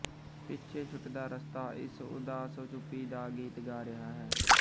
ਪਿੱਛੇ ਛੁੱਟਦਾ ਰਸਤਾ ਇਸ ਉਦਾਸ ਚੁੱਪੀ ਦਾ ਗੀਤ ਗਾ ਰਿਹਾ ਹੈ